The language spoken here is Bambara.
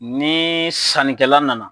Ne sannikɛla nana